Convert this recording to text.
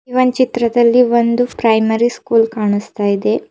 ಇವಂದ್ ಚಿತ್ರದಲ್ಲಿ ಒಂದು primary school ಕಾಣಿಸ್ತಾ ಇದೆ.